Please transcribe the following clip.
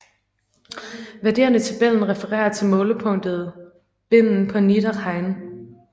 Værdierne i tabellen refererer til målepunktet Bimmen på Niederrhein